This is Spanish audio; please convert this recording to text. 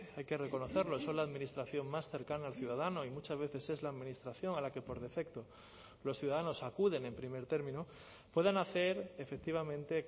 hay que reconocerlo son la administración más cercana al ciudadano y muchas veces es la administración a la que por defecto los ciudadanos acuden en primer término puedan hacer efectivamente